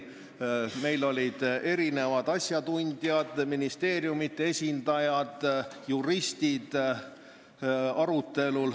Meil olid arutellu kaasatud mitmed asjatundjad, ministeeriumide esindajad ja juristid.